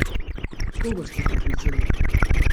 Koga ste poklicali?